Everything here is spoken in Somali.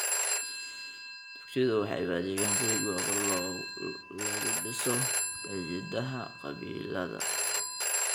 Dugsiyadu waxay u adeegaan sidii goobo lagu dhiso xidhiidhada qabiilada.